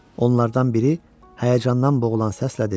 Onlardan biri həyəcandan boğulan səslə dedi: